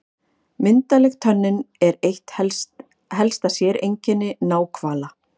Myndarleg tönnin er eitt helsta sérkenni náhvala.